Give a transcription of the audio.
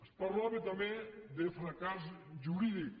es parlava també de fracàs jurídic